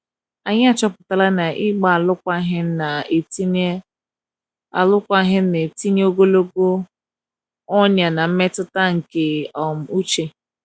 anyi achọpụtala na ịgba alụkwaghim na etinye alụkwaghim na etinye ogologo ọnya na mmetụta nke um uche